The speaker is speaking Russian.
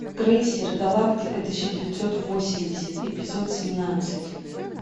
крейсер галактика тысяча девятьсот восемьдесят эпизод семнадцать